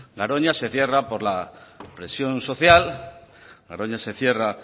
garoña se cierra por la presión social garoña se cierra